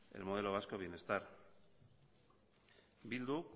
el modelo vasco de bienestar bildu